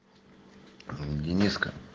аа дениска